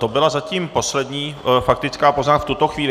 To byla zatím poslední faktická poznámka v tuto chvíli.